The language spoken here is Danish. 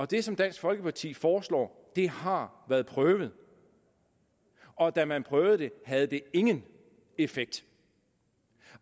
det som dansk folkeparti foreslår har været prøvet og da man prøvede det havde det ingen effekt